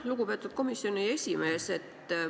Lugupeetud komisjoni esimees!